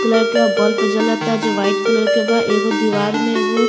colour के bulb जलता जो वाइट कलर के बा एगो दीवार में एगो --